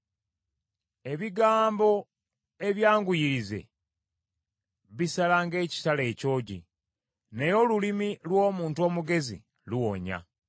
Ebigambo ebyanguyirize bisala ng’ekitala ekyogi, naye olulimi lw’omuntu omugezi luwonya.